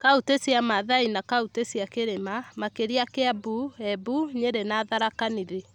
kauntĩ cia Maathai na kauntĩ cia Kirima, makĩria Kĩambu , Embu, Nyerĩ na Tharaka Nithi.